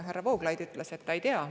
Härra Vooglaid ütles, et ta ei tea.